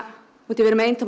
við erum með eintóma